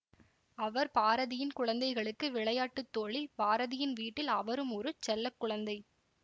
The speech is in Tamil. அவர் பாரதியின் குழந்தைகளுக்கு விளையாட்டு தோழி பாரதியின் வீட்டில் அவரும் ஒரு செல்ல குழந்தை